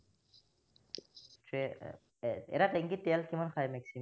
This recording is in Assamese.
হম এৰ এটা tank ত তেল কিমান খায় maximum